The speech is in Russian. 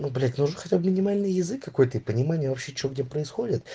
ну блять ну уже хотя бы минимальный язык какой-то и понимание вообще что где происходит